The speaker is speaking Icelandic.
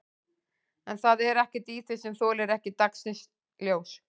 En það er ekkert í því sem þolir ekki dagsins ljós?